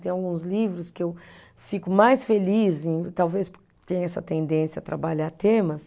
Tem alguns livros que eu fico mais feliz em, talvez porque tenho essa tendência a trabalhar temas.